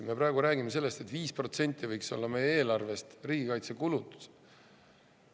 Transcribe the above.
Me praegu räägime sellest, et 5% võiks olla meie eelarvest riigikaitsekulutused.